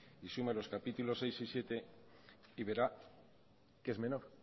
y tiene los capítulos sexto y séptimo y verá que es menor